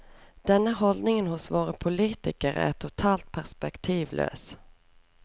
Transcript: Denne holdningen hos våre politikere er totalt perspektivløs.